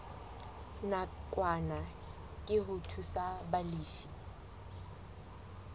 nakwana ke ho thusa balefi